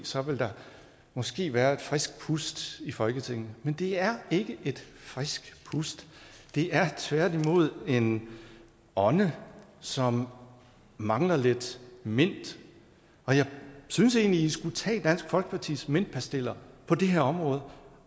så ville der måske være et frisk pust i folketinget men det er ikke et frisk pust det er tværtimod en ånde som mangler lidt mint og jeg synes egentlig i skulle tage dansk folkepartis mintpastiller på det her område